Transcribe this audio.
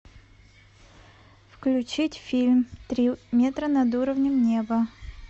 включить фильм три метра над уровнем неба